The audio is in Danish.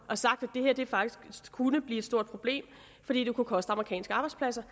kunne blive et stort problem fordi det kunne koste amerikanske arbejdspladser